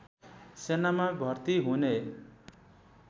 सेनामा भर्ती हुने